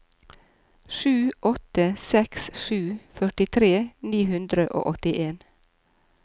sju åtte seks sju førtitre ni hundre og åttien